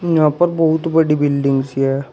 यहां पर बहुत बड़ी बिल्डिंग्स है।